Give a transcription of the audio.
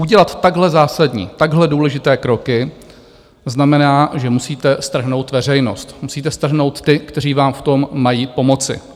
Udělat takhle zásadní, takhle důležité kroky znamená, že musíte strhnout veřejnost, musíte strhnout ty, kteří vám v tom mají pomoci.